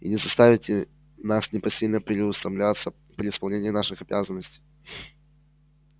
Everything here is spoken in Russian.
и не заставите нас непосильно переутомляться при исполнении наших обязанностей